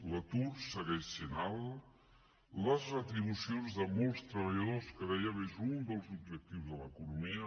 l’atur segueix sent alt les retribucions de molts treballadors que ho dèiem és un dels objectius de l’economia